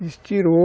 Estirou.